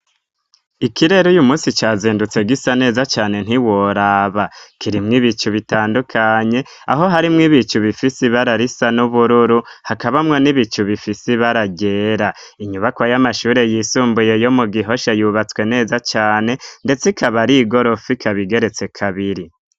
ikirero uyu munsi cazindutse gisa neza cane ntiworaba kirimwe ibicu bitandukanye aho harimwe ibicu bifisi bararisa n'ubururu hakabamwa n'ibicu bifisi bara ryera inyubako y'amashure y'isumbuye yomu gihosha yubatswe neza cane ndetse ikaba arigorofa ikabigeretse kabiri